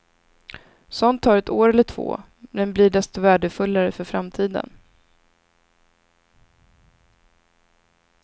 Sådant tar ett år eller två men blir desto värdefullare för framtiden.